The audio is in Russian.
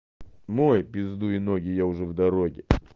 мой пиздуй ноги я уже в дороге